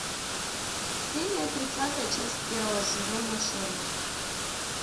серия тридцатая часть первого сезона шерлок